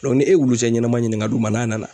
ni e wolosɛnɛ ɲɛnama ɲini ka d'u ma n'a nana.